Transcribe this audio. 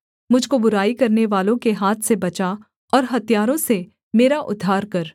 मुझ को बुराई करनेवालों के हाथ से बचा और हत्यारों से मेरा उद्धार कर